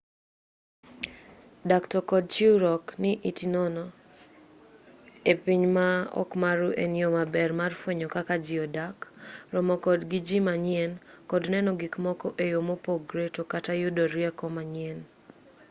dak to kod chiwruok ni iti nono e piny ma okmaru en yoo maber mar fwenyo kaka ji odak romo kod ji manyien kod neno gikmoko e yoo mopogre to kata yudo rieko manyien